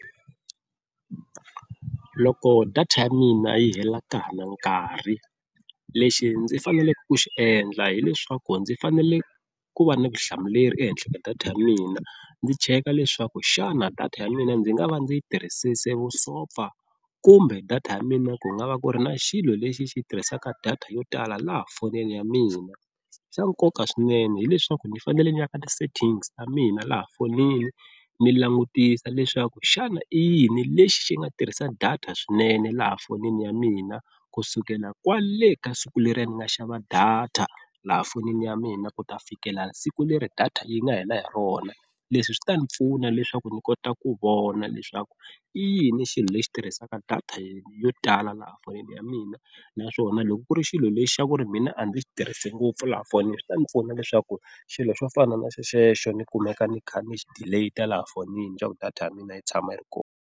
Loko data ya mina yi hela ka ha ri na nkarhi lexi ndzi faneleke ku xi endla hi leswaku, ndzi fanele ku va na vutihlamuleri ehenhla ka data ya mina ndzi cheka leswaku xana data ya mina ndzi nga va ndzi yi tirhisisile vusopfa kumbe data ya mina ku nga va ku ri na xilo lexi xi tirhisaka data yo tala laha fonini ya mina. Xa nkoka swinene hileswaku ni fanele ni yaka ti-settings ta mina laha fonini ni langutisa leswaku xana i yini lexi xi nga tirhisa data swinene laha fonini ya mina kusukela kwale ka siku leriya ni nga xava data laha fonini ya mina ku ta fikela siku leri data yi nga hela hi rona. Leswi swi ta ni pfuna leswaku ni kota ku vona leswaku i yini xilo lexi tirhisaka data yo tala laha a fonini ya mina naswona loko ku ri xilo lexi xa ku ri mina a ndzi xi tirhisi ngopfu laha fonini swi ta ni pfuna leswaku xilo xo fana na xexo ni kumeka ni kha ni xi delete laha fonini xa ku data ya mina yi tshama yi ri kona.